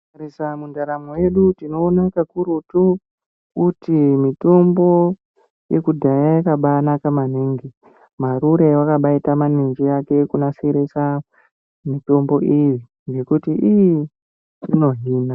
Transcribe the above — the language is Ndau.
Tikatarisa ndaramo yedu tinoona kakurutu kuti mutombo yekudhaya yakabaa naka maningi maruru wakabaita maninji akwe kunasirisa mitombo iyi ngekuti iii inohina.